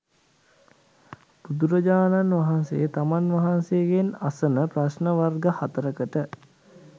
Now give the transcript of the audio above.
බුදුරජාණන් වහන්සේ තමන් වහන්සේගෙන් අසන ප්‍රශ්න වර්ග හතරකට